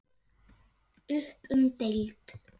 Upp um deild